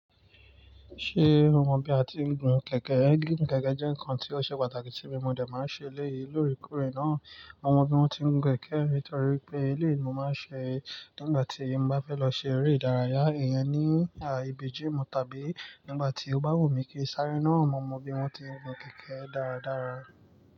Ṣé o mọ bí a ti ń gun kẹ̀kẹ́? Gíìgùn kẹ̀kẹ́ jẹ́ nǹkan tí ó ṣe pàtàkì sí mi mọ̀, dè máa ń ṣe eléyìí lóòrèkóòrè náà. Mo mọ bí wọ́n ti ń gun kẹ̀kẹ́ nítorípé pé eléyìí ni mo máa ń ṣe nígbà tí ń bá fẹ́ lọ ṣe eré ìdárayá ìyẹn ní ibi gimu tàbí nígbà tí ó bá wù mí kí n sáré náà, mo mọ bí wọ́n ti ń gun kẹ̀kẹ́ dáradára.